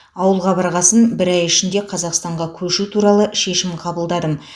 ауылға барғасын бір ай ішінде қазақстанға көшу туралы шешім қабылдадым